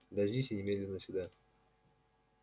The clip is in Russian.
дождись и немедленно сюда